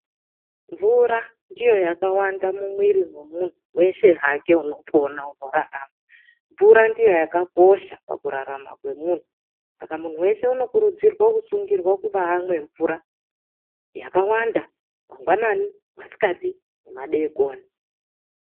Mvura ndiyo yakawanda mumwiri mwemunhu weshe hake unopona, unorarama. Mvura ndiyo yakakosha pakurarama kwemunhu, saka munhu weshe unokurudzirwa kusungirwa kubaamwe mvura yakawanda mangwanani masikati nemadeekoni.